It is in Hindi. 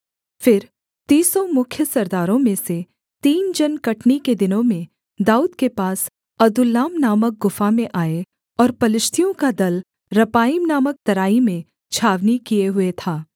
फिर तीसों मुख्य सरदारों में से तीन जन कटनी के दिनों में दाऊद के पास अदुल्लाम नामक गुफा में आए और पलिश्तियों का दल रपाईम नामक तराई में छावनी किए हुए था